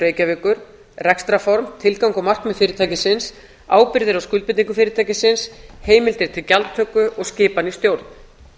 reykjavíkur rekstrarform tilgang og markmið fyrirtækisins ábyrgðir og skuldbindingu fyrirtækisins heimildir til gjaldtöku og skipan í stjórn